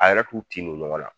A yɛrɛ t'u tin don ɲɔgɔn la.